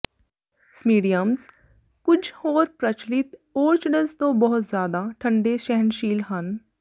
cymbidiums ਕੁੱਝ ਹੋਰ ਪ੍ਰਚਲਿਤ ਔਰਚਡਜ਼ ਤੋਂ ਬਹੁਤ ਜ਼ਿਆਦਾ ਠੰਡੇ ਸਹਿਣਸ਼ੀਲ ਹਨ